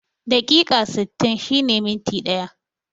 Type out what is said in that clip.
Dakika sittin shine minti ɗaya